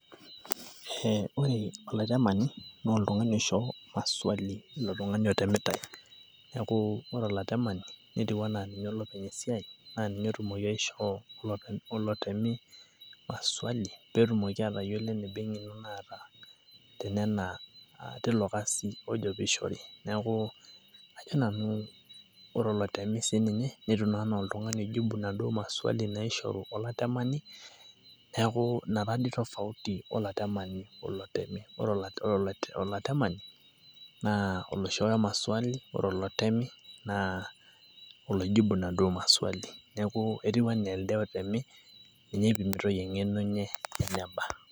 ore olatemani naa oltungani oisho maswali ilo tungani otemitae, neeku ore olatemani etiu anaa ninye olopeny esiai. netumoki aishoo, olotemi maswali pee etumoki atayiolo eneba eng'eno naata teilo kasi ojo peeishori. ore olotemi sii ninye netiu anaa oloijibu inaduoo maswali. naishoru olatemani, neeku ina taadii tofauti olatemani. ore olatamani naa oloishooyo inaduoo maswali. ore olotemi naa oloishori maswali